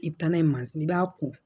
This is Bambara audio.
I bi taa n'a ye i b'a ko